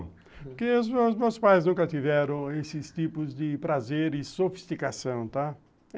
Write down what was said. Porque os meus pais nunca tiveram esses tipos de prazer e sofisticação, tá?